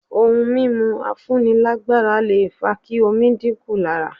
Ohun mímú afúnilágbára lè fa kí omi díkù lára.